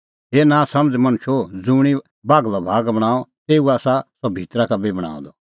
हे नांसमझ़ मणछो ज़ुंणी बाघलअ भाग बणांअ तेऊ आसा सह भितरा का बी बणांअ द